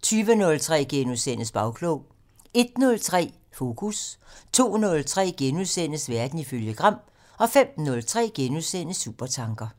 * 20:03: Bagklog * 01:03: Fokus 02:03: Verden ifølge Gram * 05:03: Supertanker *